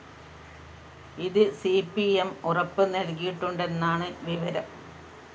ഇത് C P M ഉറപ്പ് നല്‍കിയിട്ടുണ്ടെന്നാണ് വിവരം